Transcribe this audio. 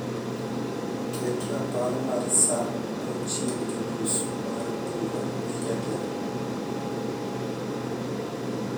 ket rapar mar saa saa auchiel gi nus mar bura gi jatelo